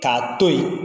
K'a to yen